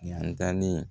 Yantalen